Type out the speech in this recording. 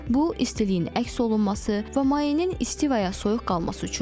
Bu istiliyin əks olunması və mayenin isti və ya soyuq qalması üçündür.